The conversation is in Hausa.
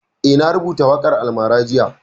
Eh, na rubuta waƙan almara jiya